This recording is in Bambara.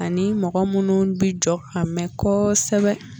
Ani mɔgɔ minnu bɛ jɔ ka mɛɛn kosɛbɛ